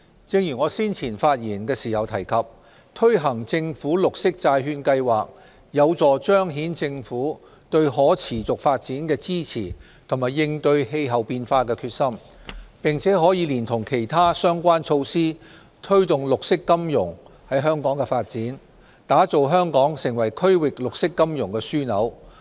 正如我先前發言時提及，推行政府綠色債券計劃，有助彰顯政府對可持續發展的支持及應對氣候變化的決心，並可連同其他相關措施，推動綠色金融在香港的發展，打造香港成為區域綠色金融樞紐。